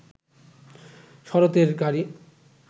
শরতের গাড়ি